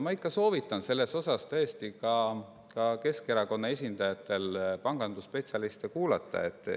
Ma ikka soovitan tõesti ka Keskerakonna esindajatel pangandusspetsialiste kuulata.